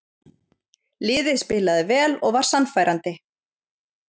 Liðið spilaði vel og var sannfærandi.